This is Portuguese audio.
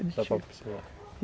É de tiro